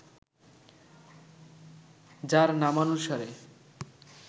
যার নামানুসারে